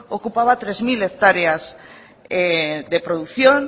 ocupaba tres mil hectáreas de producción